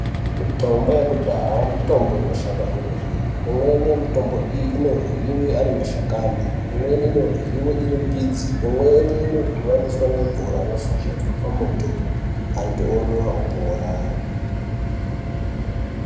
Mitombo yakudhaya mitombo inoshanda kwemene, imweni yemitombo iyi iryiwe ari mashakani . Imweni inoryiwe iri mbidzi , imweni inodhuvaniswa ngemvura yofashaidzwa pamoto antu omwa opora.